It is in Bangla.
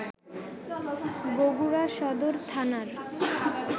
বগুড়া সদর থানার